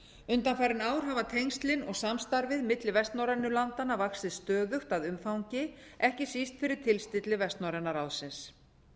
undanfarin ár hafa tengslin og samstarfið milli vestnorrænu landanna vaxið stöðugt að umfangi ekki síst fyrir tilstilli vestnorræna ráðsins